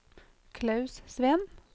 Klaus Sveen